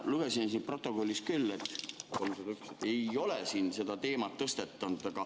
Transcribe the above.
Ma lugesin protokollist, et seda teemat ei ole tõstatatud.